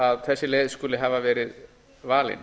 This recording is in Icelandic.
að þessi leið skuli hafa verið valin